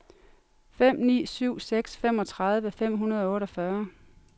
fem ni syv seks femogtredive fem hundrede og otteogfyrre